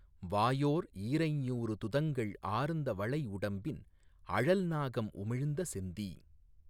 வாயோர் ஈரைஞ்ஞூறு துதங்கள் ஆர்ந்த வளை உடம்பின் அழல் நாகம் உமிழ்ந்த செந்தீ